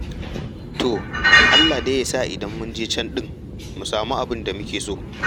To Allah dai ya sa in mun je can ɗin mu samu abin da muke so.